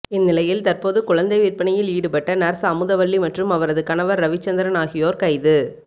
இந்நிலையில் தற்போது குழந்தை விற்பனையில் ஈடுபட்ட நர்ஸ் அமுதவள்ளி மற்றும் அவரது கணவர் ரவிச்சந்திரன் ஆகியோர் கைது